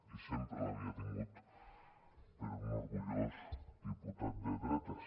i sempre l’havia tingut per un orgullós diputat de dretes